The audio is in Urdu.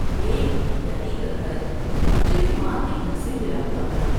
ایک بیٹیاری کا گھر چڑی مار کے گھر سے ملا ہوا تھا ۔